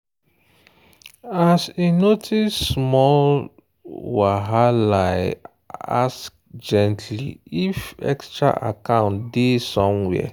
she bring hidden account matter for a conversation way day for merging their finance's.